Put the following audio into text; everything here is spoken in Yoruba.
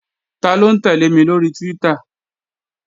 Taló ń tẹ́lẹ̀ mi lóri Twitter?